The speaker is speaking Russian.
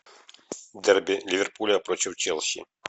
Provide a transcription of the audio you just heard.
дерби ливерпуля против челси